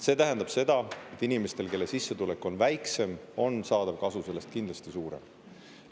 See tähendab seda, et inimestel, kelle sissetulek on väiksem, on saadav kasu sellest kindlasti suurem.